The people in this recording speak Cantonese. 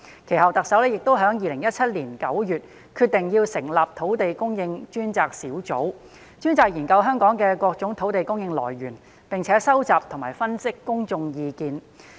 其後，特首亦在2017年9月決定成立土地供應專責小組，專責研究香港各種土地供應選項，並收集和分析公眾意見。